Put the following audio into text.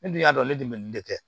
Ne dun y'a dɔn ne de bɛ nin de kɛ